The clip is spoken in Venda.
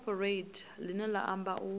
cooperate ḽine ḽa amba u